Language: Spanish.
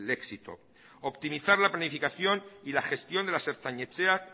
éxito optimizar la planificación y la gestión de las ertzain etxeak